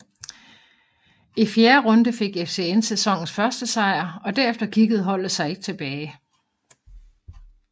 I fjerde runde fik FCN sæsonens første sejr og derefter kiggede holdet sig ikke tilbage